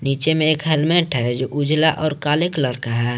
पीछे में एक हेलमेट है जो उजला और काले कलर का है।